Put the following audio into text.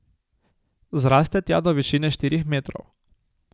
Zraste tja do višine štirih metrov.